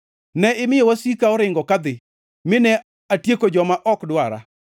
Ne imiyo wasika oringo kadhi, mine atieko joma ok dwara.